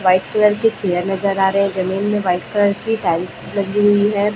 White colour के chair नजर आ रहे हैं जमीन में वाइट कलर की टाइल्स लगी हुई है।